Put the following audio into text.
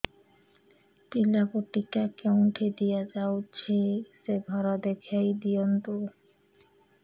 ପିଲାକୁ ଟିକା କେଉଁଠି ଦିଆଯାଉଛି ସେ ଘର ଦେଖାଇ ଦିଅନ୍ତୁ